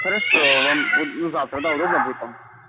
хорошо вам вот завтра да удобно будет вам